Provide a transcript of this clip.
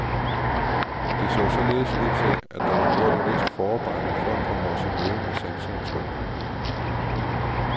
Det så således ud til, at der var gjort et vist forarbejde for at komme os i møde med sanseindtryk.